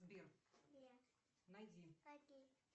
сбер найди